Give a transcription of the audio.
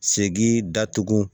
Segin datugu